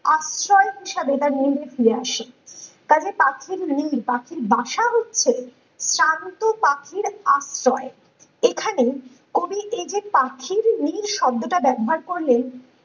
আছাড় হিসাবে তার নীড়ে ফায়ার আসে তার যে পাখির নীড় পাখির বাসা হচ্ছে ক্লান্ত পাখির আশ্রয় এখানে কবি এই যে পাখির নীড় শব্দটা ব্যাবহার করলেন